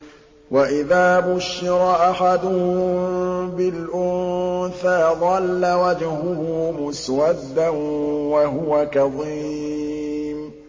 وَإِذَا بُشِّرَ أَحَدُهُم بِالْأُنثَىٰ ظَلَّ وَجْهُهُ مُسْوَدًّا وَهُوَ كَظِيمٌ